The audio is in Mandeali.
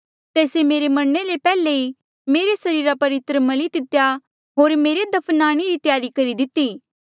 तेस्से मेरे मरणे ले पैहले ई मेरे सरीरा पर इत्र मली दितेया होर मेरे दफनाणे री त्यारी करी दिती